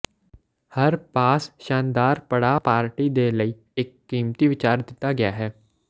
ਹਰ ਪਾਸ ਸ਼ਾਨਦਾਰ ਪੜਾਅ ਪਾਰਟੀ ਦੇ ਲਈ ਇੱਕ ਕੀਮਤੀ ਵਿਚਾਰ ਦਿੱਤਾ ਗਿਆ ਹੈ